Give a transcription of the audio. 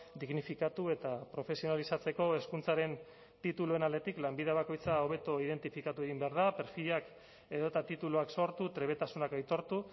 dignifikatu eta profesionalizatzeko hezkuntzaren tituluen aldetik lanbide bakoitza hobeto identifikatu egin behar da perfilak edota tituluak sortu trebetasunak aitortu